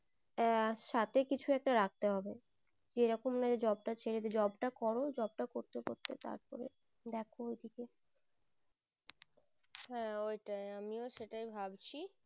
আহ সাথে কিছু একটা রাখতে হবে যে রকম job ছেড়ে job করো job করতে করতে তার পরে দেখো ওই দিকে হ্যাঁ ওই টাই আমিও সেটাই ভাবছি